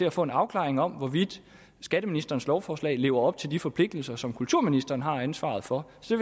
at få en afklaring om hvorvidt skatteministerens lovforslag lever op til de forpligtelser som kulturministeren har ansvaret for så